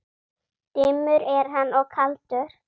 Dimmur er hann og kaldur.